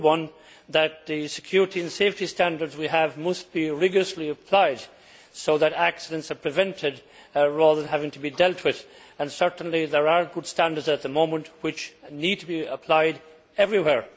Number one is that the security and safety standards that we have must be rigorously applied so that accidents are prevented rather than having to be dealt with, and certainly there are good standards at the moment which need to be applied everywhere.